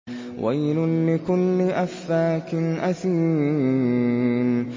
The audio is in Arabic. وَيْلٌ لِّكُلِّ أَفَّاكٍ أَثِيمٍ